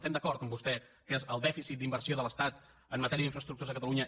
estem d’acord amb vostè que és el dèficit d’inversió de l’estat en matèria d’infraestructures a catalunya